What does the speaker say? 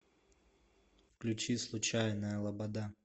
включи случайная лобода